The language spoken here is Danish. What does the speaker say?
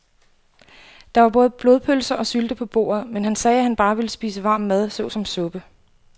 Der var både blodpølse og sylte på bordet, men han sagde, at han bare ville spise varm mad såsom suppe.